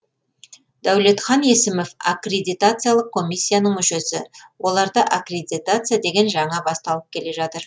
дәулетхан есімов аккредитациялық комиссияның мүшесі оларда аккредитация деген жаңа басталып келе жатыр